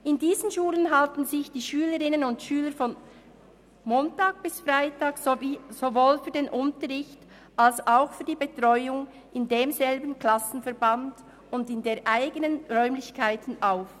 In diesen Schulen halten sich die Schülerinnen und Schüler von Montag bis Freitag sowie sowohl für den Unterricht als auch für die Betreuung in demselben Klassenverband und in eigenen Räumlichkeiten auf.